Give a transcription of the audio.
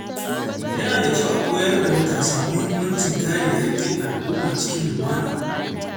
Yana da kyau a koyar da matasa muhimmancin kare haƙƙin al’umma cikin lumana.